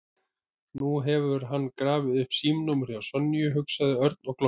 Nú hefur hann grafið upp símanúmerið hjá Sonju, hugsaði Örn og glotti.